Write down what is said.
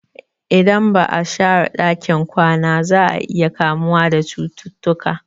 Idan ba'a share ɗakin kwana za'a iya kamuwa da cututtuka